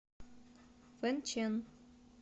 фэнчэн